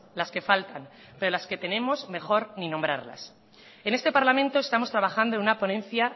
las que faltan pero las que tenemos mejor ni nombrarlas en este parlamento estamos trabajando en una ponencia